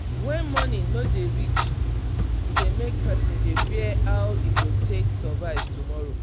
when money no dey reach e dey make person dey fear how e go take survive tomorrow.